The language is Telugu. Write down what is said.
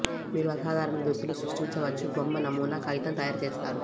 మీరు అసాధారణ దుస్తులు సృష్టించవచ్చు బొమ్మ నమూనా కాగితం తయారు చేస్తారు